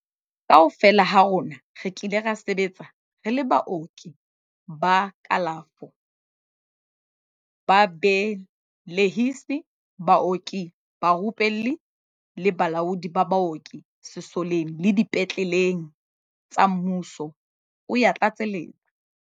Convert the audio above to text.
Kaofela ha rona re kile ra sebetsa re le baoki ba kalafo, babe lehisi, baoki barupelli le balaodi ba baoki sesoleng le dipetle leng tsa mmuso, o ya tlatseletsa.